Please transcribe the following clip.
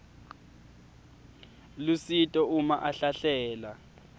lusito uma ahlahlela